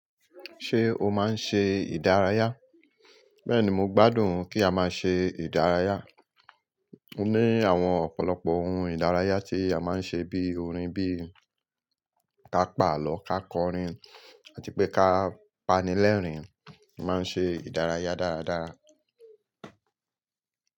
Ṣé o máa ń ṣe ìdárayá? Bẹ́ẹ̀ni, mo gbádùn kí a máa ṣe ìdárayá. Ó ní àwọn ọ̀pọ̀lọpọ̀ ohuún ìdárayá tí a máa ń ṣe bí i orin, bí i ká pàlọ́, ká kọrin àti pé ká pánilèrín. A máa ń ṣe ìdárayá dáradára.